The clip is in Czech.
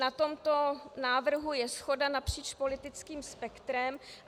Na tomto návrhu je shoda napříč politickým spektrem.